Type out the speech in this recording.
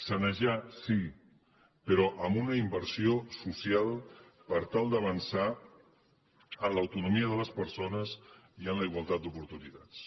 sanejar sí però amb una inversió social per tal d’avançar en l’autonomia de les persones i en la igualtat d’oportunitats